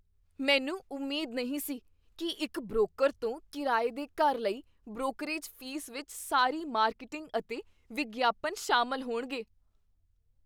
ਮੈਨੂੰ ਉਮੀਦ ਨਹੀਂ ਸੀ ਕੀ ਇੱਕ ਬ੍ਰੋਕਰ ਤੋਂ ਕਿਰਾਏ ਦੇ ਘਰ ਲਈ ਬ੍ਰੋਕਰੇਜ ਫ਼ੀਸ ਵਿੱਚ ਸਾਰੀ ਮਾਰਕੀਟਿੰਗ ਅਤੇ ਵਿਗਿਆਪਨ ਸ਼ਾਮਲ ਹੋਣਗੇ।